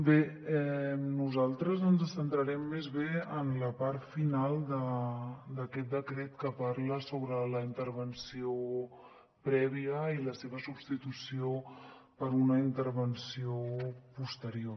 bé nosaltres ens centrarem més bé en la part final d’aquest decret que parla sobre la intervenció prèvia i la seva substitució per una intervenció posterior